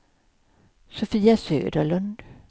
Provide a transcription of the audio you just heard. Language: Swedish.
Sofia Söderlund